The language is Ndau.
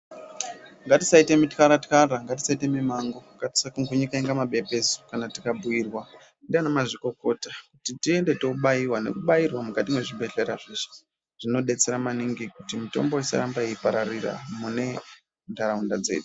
Ngatisaita mutlara tlara, ngatisaita mumango, ngatisapumhunika inga mabepesu kana tikabhiirwa ndiana mazvikokota kuti tiende kubaiwa nekubairwa mukati mwezvibhedhlera zveshe. Zvinodetsera maningi kuti mitombo isaramba yeipararira mune nharaunda dzedu.